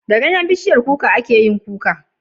Da ganyen bishiyar kuka ake yin Kuka